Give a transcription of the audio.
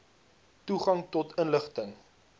toegang tot inligting